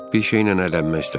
Bir şeylə əylənmək istədim.